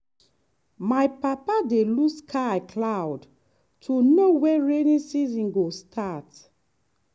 my papa dey look sky cloud to know when rainy season go start.